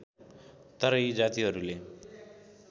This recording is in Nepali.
तर यी जातिहरूले